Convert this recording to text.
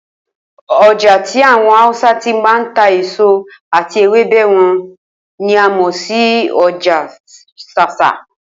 O̩jà tí àwo̩n Hausa ti máa ń ta èso àti ewébè̩ wo̩n ni a mò̩ sí o̩jà S̩ás̩á